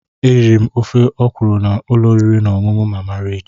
Eriri m ofe ọkwụrụ na ụlọ oriri na ọṅụṅụ Mama Rich.